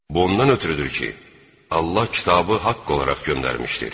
Bu ondan ötrüdür ki, Allah kitabı haqq olaraq göndərmişdir.